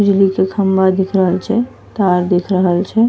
बिजली के खंभा दिख रहल छे तार दिख रहल छे।